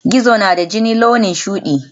Spiders have blue bloods